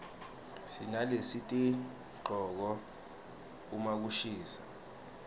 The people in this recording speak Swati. sinalesitigcoka uma kushisa